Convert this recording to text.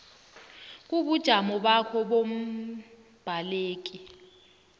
kobujamo bakho bombaleki